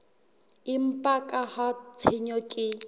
empa ka ha tshenyo ke